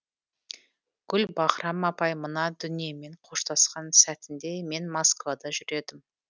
гүлбаһрам апай мына дүниемен қоштасқан сәтінде мен москвада жүр едім